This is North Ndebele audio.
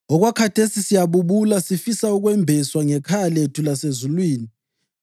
Okwakhathesi siyabubula, sifisa ukwembeswa ngekhaya lethu lasezulwini,